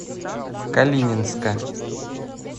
калининска